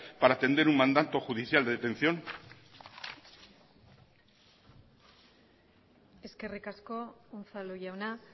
para atender un mandato judicial de detención eskerrik asko unzalu jauna